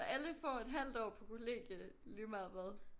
Så alle får et halvt år på kollegie lige meget hvad